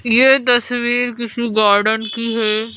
ये तस्वीर किसी गार्डन की है।